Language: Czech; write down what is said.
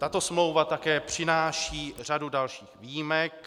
Tato smlouva také přináší řadu dalších výjimek.